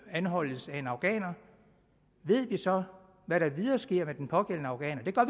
anholdes af en afghaner ved vi så hvad der videre sker med den pågældende afghaner